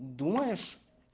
думаешь